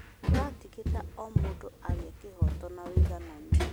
Tũratigĩrĩra o mũndũ agĩa ihooto na ũigananu.